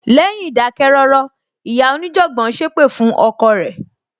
Lẹ́yìn ìdákẹ́ rọ́rọ́, ìyá onijanbon sépè fún ọkọ rẹ.